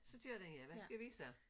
Så kører den ja hvad skal vi så?